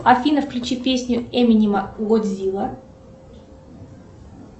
афина включи песню эминема годзилла